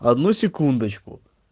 одну секундочку